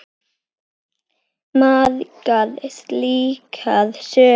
Margar slíkar sögur.